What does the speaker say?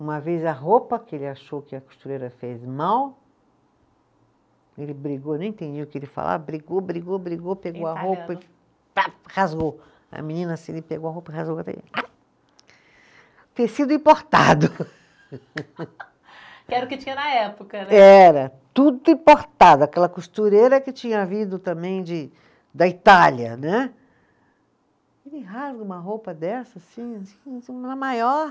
Uma vez a roupa que ele achou que a costureira fez mal ele brigou, nem entendia o que ele falava, brigou, brigou, brigou, pegou a roupa e, rasgou, a menina assim e ele pegou a roupa e rasgou, o tecido importado. Que era o que tinha na época né? Era, tudo importado, aquela costureira que tinha vindo também de da Itália, né, ele rasga uma roupa dessa assim, na maior